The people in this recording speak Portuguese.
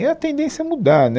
É a tendência mudar, né